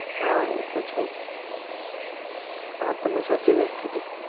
હા એ તો છે જ આ તમે સાચી વાત કીધી.